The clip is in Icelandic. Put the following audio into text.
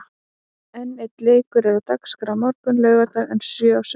Einn leikur er á dagskrá á morgun, laugardag en sjö á sunnudag.